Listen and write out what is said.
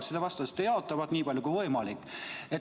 Siis te vastasite jaatavalt, et nii palju kui võimalik.